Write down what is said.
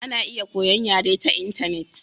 Ana iya koyon yare ta intanet.